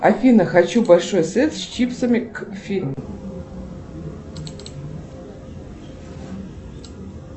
афина хочу большой сет с чипсами к фильму